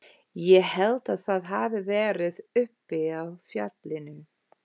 Ég held að það hafi verið uppi á fjallinu.